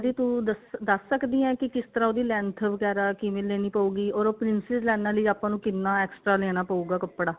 B ਤੂੰ ਉਹਦੀ ਤੂੰ ਦੱਸ ਸਕਦੀ ਆਂ ਕੇ ਕਿਸ ਤਰ੍ਹਾਂ ਉਸਦੀ length ਵਗੈਰਾ ਕਿਵੇਂ ਲੈਣੀ ਪਉਗੀ or ਉਹ princess ਲਾਈਨਾ ਲਈ ਆਪਾਂ ਨੂੰ ਕਿੰਨਾ extra ਲੈਣਾ ਪਾਉਗਾ ਕੱਪੜਾ